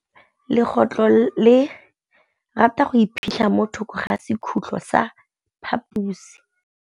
Legôtlô le rata go iphitlha mo thokô ga sekhutlo sa phaposi.